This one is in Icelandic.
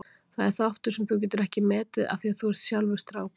Það er þáttur sem þú getur ekki metið af því að þú ert sjálfur strákur.